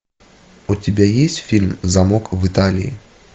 у тебя есть фильм замок в италии